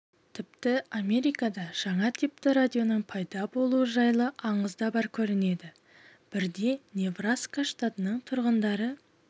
тіпті америкада жаңа типті радионың пайда болуы жайлы аңыз да бар көрінеді бірде небраска штатының тұрғындары